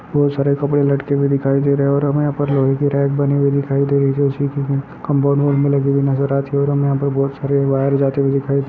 बहुत सारे कपड़े लटके हुये दिखायी दे रही है और हमें ये पर लोहै की रैक बनी हुई देखी दे रही है बहुत सारी वायर जाती हुई दिखाई दे रही है।